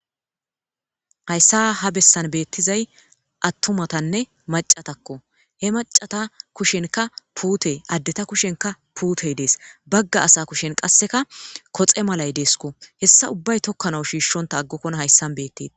Hayssa ha bessan beettizay attomatanne macatakko he macata kushenka puutey addeta kushenka puutey dees bagga asa kushen qasseka koxe malay deeskko hessa ubbay tokkana shiishshonta aggokkona hayssan betti.